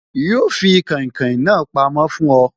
Yo fi kàìnkaìn na pamó fún oy